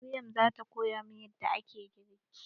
Maryam zata koya min yadda ake girki.